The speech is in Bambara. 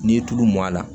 N'i ye tulu mɔn a la